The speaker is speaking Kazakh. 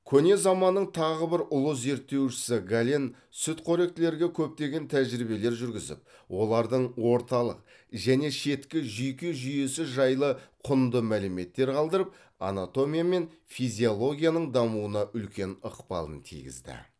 көне заманның тағы бір ұлы зерттеушісі гален сүтқоректілерге көптеген тәжірибелер жүргізіп олардың орталық және шеткі жүйке жүйесі жайлы құнды мәліметтер қалдырып анатомия мен физиологияның дамуына үлкен ықпалын тигізді